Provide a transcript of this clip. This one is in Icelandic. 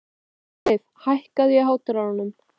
Sigurleif, hækkaðu í hátalaranum.